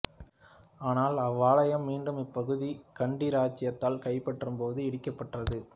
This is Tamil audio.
ஆனால் அவ்வாலயம் மீண்டும் இப்பகுதி கண்டி இராச்சியத்தால் கைப்பற்றப்பட்டப் போது இடிக்கப்பட்டது